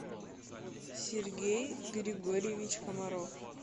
сергей григорьевич комаров